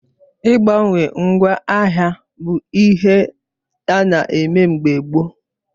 Ị gbawe ngwa ahia bụ ihe ana eme mgbe gboo